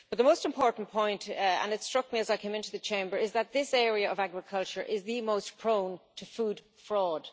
But the most important point, and it struck me as I came into the Chamber, is that this area of agriculture is the most prone to food fraud.